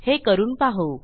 हे करून पाहू